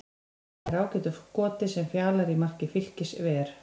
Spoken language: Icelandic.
Hann nær ágætu skoti sem Fjalar í marki Fylkis ver.